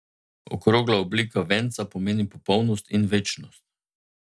Okrogla oblika venca pomeni popolnost in večnost.